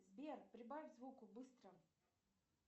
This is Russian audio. сбер прибавь звук быстро